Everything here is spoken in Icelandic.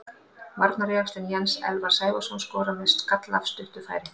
Varnarjaxlinn Jens Elvar Sævarsson skorar með skalla af stuttu færi.